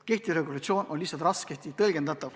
Kehtiv versioon on lihtsalt raskesti tõlgendatav.